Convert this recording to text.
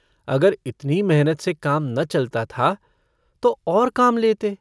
अगर इतनी मेहनत से काम न चलता था तो और काम लेते।